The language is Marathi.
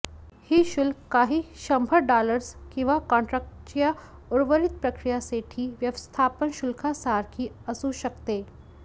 ही शुल्क काही शंभर डॉलर्स किंवा कॉन्ट्रॅक्टच्या उर्वरित प्रक्रियेसाठी व्यवस्थापन शुल्कासारखी असू शकते